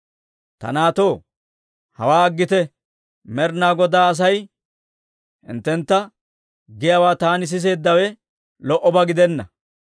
Ta naatoo, hawaa aggite; Med'inaa Godaa Asay hinttentta giyaawaa taani siseeddawe lo"obaa gidenna.